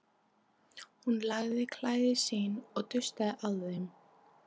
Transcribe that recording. Hún lagaði klæði sín og dustaði af þeim.